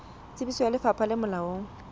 tsebiso ya lefapha le molaong